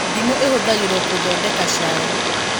Ndimũ ĩhũthagĩrwo gũthondeka cai